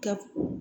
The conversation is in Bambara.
Ka